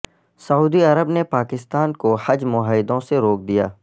سعودی عرب نے پاکستان کو حج معاہدوں سے روک دیا